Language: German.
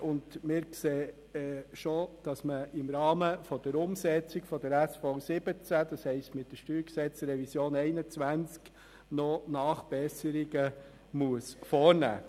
Wir sehen schon voraus, dass im Rahmen der Umsetzung der SV17, also mit der StG-Revision 2021, noch Nachbesserungen vorgenommen werden müssen.